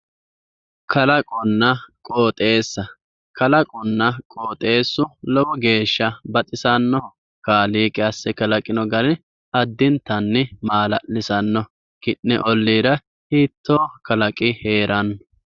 kalaqonna qooxeessa kalaqonna qooxeessu lovo geesha baxisannoho kaliiqi asse kalaqinno gari addintanni geesha maala'lisannoho ki'ne oliira hiitoo kalaqi heeranno